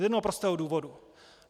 Z jednoho prostého důvodu.